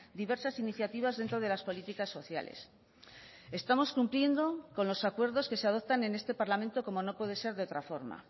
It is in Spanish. diversas iniciativas dentro de las políticas sociales estamos cumpliendo con los acuerdos que se adoptan en este parlamento como no puede ser de otra forma